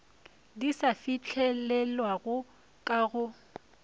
di sa fihlelelwego ka go